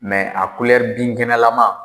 a binkɛnɛlama